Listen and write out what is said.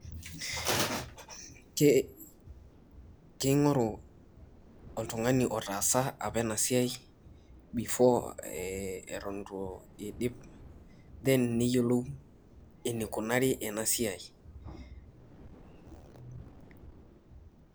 King'oru oltung'ani otaasa apa ena siai before eton itu iidip then neyiolou enikunari ena siai.